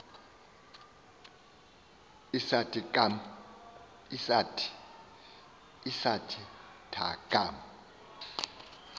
isathe thaa kum